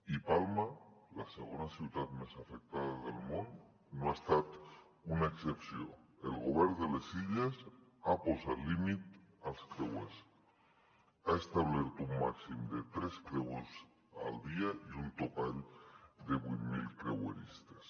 i palma la segona ciutat més afectada del món no n’ha estat una excepció el govern de les illes ha posat límit als creuers ha establert un màxim de tres creuers al dia i un topall de vuit mil creueristes